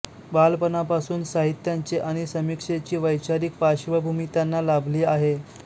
बालपणापासून साहित्याचे आणि समीक्षेची वैचारिक पार्श्वभूमी त्यांना लाभली आहे